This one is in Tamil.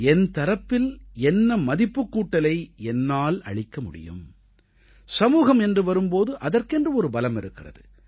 என் தரப்பில் என்ன மதிப்புக்கூட்டலை என்னால் அளிக்க முடியும் சமூகம் என்று வரும் போது அதற்கென்று ஒரு பலம் இருக்கிறது